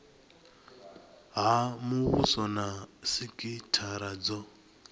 ha muvhuso na sikithara dzo